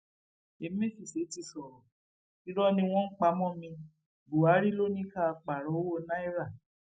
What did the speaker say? emefíse ti sọrọ irọ ni wọn ń pa mọ mi buhari ló ní ká pààrọ owó naira